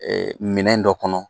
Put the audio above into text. Minɛn dɔ kɔnɔ.